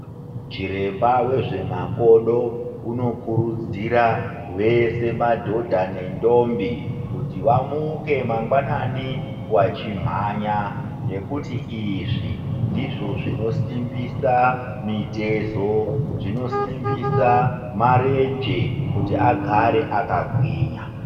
Chiremba wezve makodo kunokurudzirwa vese madhodha nendombi kuti vamuke mangwnani vachimhanya ndizvo zvinosimbisa mitezo zvinosimbisa marenje kuti agare akagwinya.